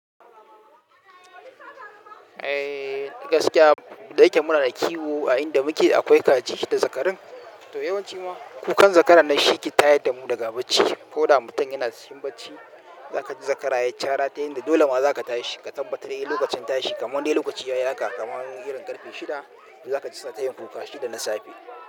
Eh gaskiya dai kam muna da kiwo a inda muke akwai kaji da zakarun. To yawanci kuma kukan zakara nan shi ke tayar da mu daga bacci. Ko da mutum yana cikin bacci, za ka ji zakara ya yi cara ta hanyar dole ma za ka tashi ka tabbatar yi lokacin tashi. Kamar dai lokaci ya yi haka kamar irin ƙarfe shida, za ka ji suna ta yin kuka karfe shida na safe.